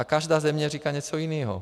A každá země říká něco jiného.